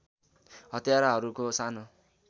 हत्याराहरूको सानो